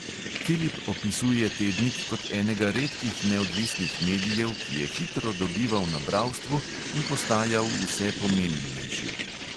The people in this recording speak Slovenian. Filip opisuje tednik kot enega redkih neodvisnih medijev, ki je hitro dobival na bralstvu in postajal vse pomembnejši.